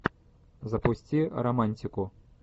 запусти романтику